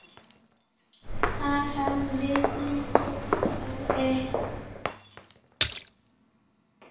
Þar höfum við mikil gæði.